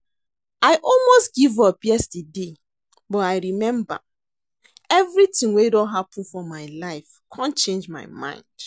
I almost give up yesterday but I remember everything wey don happen for my life come change my mind